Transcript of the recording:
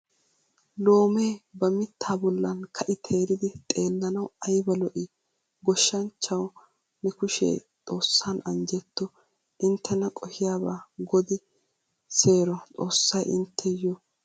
Loomee ba mitta bollan kai teeridi xeelanawu ayba lo"i! Gooshshanchchawu ne kushshe xoossan anjjetto. Inttena qohiyaba godi seeroXoossay intteyo awane ira injjeyo.